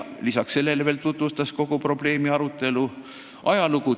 Lisaks tutvustas ta kogu selle probleemi arutelu ajalugu.